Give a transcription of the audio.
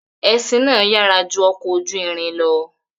Ẹṣin náà yára ju ọ̀kọ̀ ojú ìrìn lọ̀.